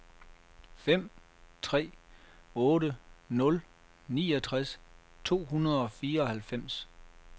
fem tre otte nul niogtres to hundrede og fireoghalvfems